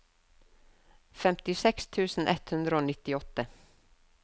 femtiseks tusen ett hundre og nittiåtte